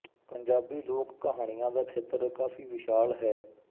ਪੰਜਾਬੀ ਲੋਕ ਕਹਾਣੀਆਂ ਦਾ ਖੇਤਰ ਕਾਫ਼ੀ ਵਿਸ਼ਾਲ ਹੈ